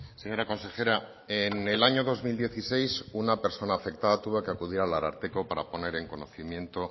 señora consejera en el año dos mil dieciséis una persona afectada tuvo que acudir al ararteko para poner en conocimiento